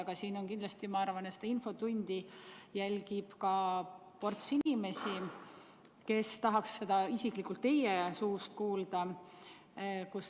Aga kindlasti seda infotundi jälgib ports inimesi, kes tahaks üht-teist isiklikult teie suust kuulda.